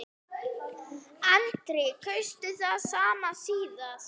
Andri: Kaustu það sama síðast?